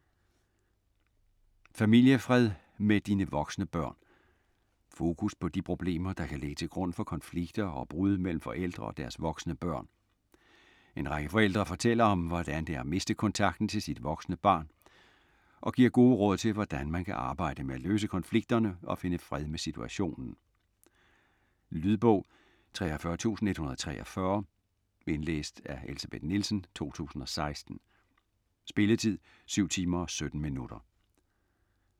Familiefred med dine voksne børn Fokus på de problemer, der kan ligge til grund for konflikter og brud mellem forældre og deres voksne børn. En række forældrer fortæller om, hvordan det er at miste kontakten til sit voksne barn og giver gode råd til, hvordan man kan arbejde med at løse konflikterne og finde fred med situationen. Lydbog 43123 Indlæst af Elsebeth Nielsen, 2016. Spilletid: 7 timer, 17 minutter.